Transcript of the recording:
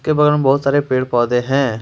Ground में पेड़ पौधे हैं।